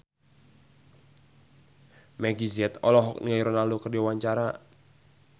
Meggie Z olohok ningali Ronaldo keur diwawancara